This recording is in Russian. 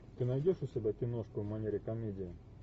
ты найдешь у себя киношку в манере комедия